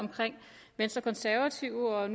venstre de konservative og